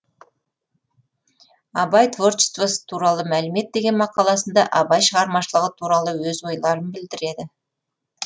абай творчествосы туралы мәлімет деген мақаласында абай шығармашылығы туралы өз ойларын білдіреді